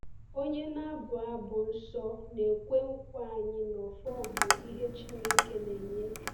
Onye na-abu abụ nsọ na-ekwe nkwa anyị na “ọfọ bụ ihe Chineke na-enye.”